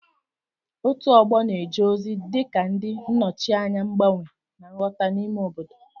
Òtù ọgbọ na-eje ozi dị ka ndị nnọchianya mgbanwe na nghọta n'ime obodo.